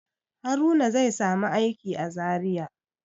Haruna zai samu aiki a Zariya.